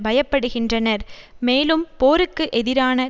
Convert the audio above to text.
பயப்படுகின்றனர் மேலும் போருக்கு எதிரான